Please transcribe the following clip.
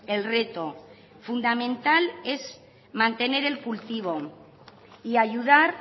el reto fundamental es mantener el cultivo y ayudar